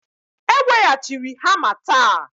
E weghachiri hama taa